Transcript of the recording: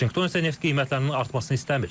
Vaşinqton isə neft qiymətlərinin artmasını istəmir.